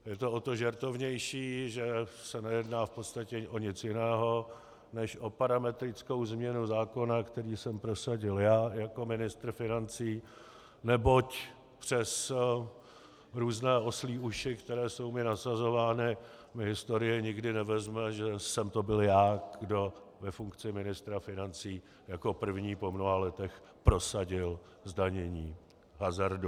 Je to o to žertovnější, že se nejedná v podstatě o nic jiného než o parametrickou změnu zákona, který jsem prosadil já jako ministr financí, neboť přes různé oslí uši, které jsou mi nasazovány, mi historie nikdy nevezme, že jsem to byl já, kdo ve funkci ministra financí jako první po mnoha letech prosadil zdanění hazardu.